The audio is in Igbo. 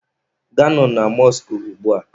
Gaanụ na mọskụ ugbua!